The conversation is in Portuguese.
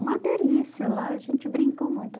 Uma delícia lá, a gente brincou muito.